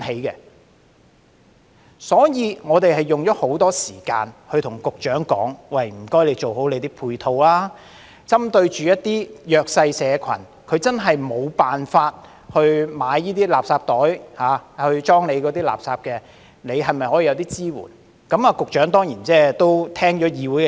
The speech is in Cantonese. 為此，我們花了很多時間與局長討論，要求他做好配套，針對一些弱勢社群，他們確實無法購買垃圾袋裝妥垃圾，當局是否可以提供一些支援呢？